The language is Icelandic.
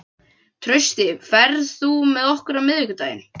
Trausti, ferð þú með okkur á miðvikudaginn?